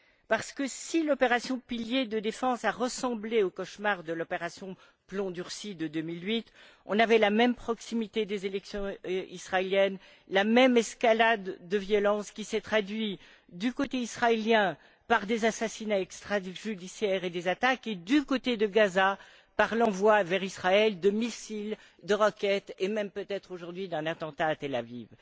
Car l'opération Pilier de Défense a ressemblé au cauchemar de l'opération Plomb Durci de 2008 on avait la même proximité des élections israéliennes, la même escalade de violence, qui s'est traduite, du côté israélien, par des assassinats extrajudiciaires et des attaques et, du côté de Gaza, par l'envoi vers Israël de missiles et de roquettes et même peut être, aujourd'hui, d'un attentat à Tel Aviv.